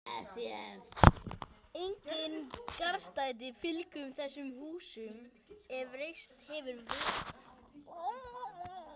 Engin garðstæði fylgdu þessum húsum, ef reist hefðu verið.